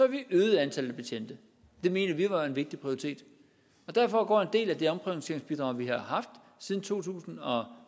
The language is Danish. vi øget antallet af betjente det mente vi var en vigtig prioritet derfor går en del af det omprioriteringsbidrag vi har haft siden to tusind og